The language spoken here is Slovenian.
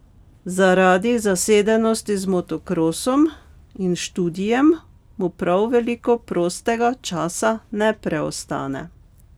Zaradi zasedenosti z motokrosom in študijem mu prav veliko prostega časa ne preostane.